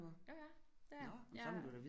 Jo jeg er det er jeg jeg